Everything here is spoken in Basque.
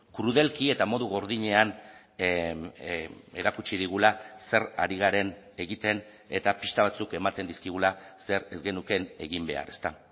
krudelki eta modu gordinean erakutsi digula zer ari garen egiten eta pista batzuk ematen dizkigula zer ez genukeen egin behar ezta